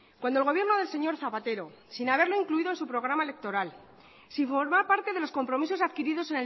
cuando el gobierno del señor zapatero sin haberlo incluido en su programa electoral sin formar parte de los compromisos adquiridos